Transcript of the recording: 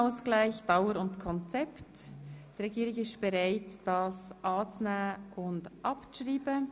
Die Regierung ist bereit, das Postulat anzunehmen und abzuschreiben.